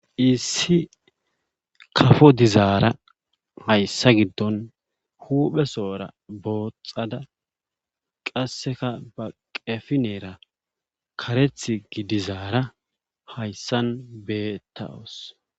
issi kafo dizaara hayssa giddon huphesohora booxada qasseka ba qefineera kareth gidizaara hayssan beetawos